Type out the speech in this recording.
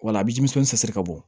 Wa a bɛ denmisɛnnin sɛni ka bɔ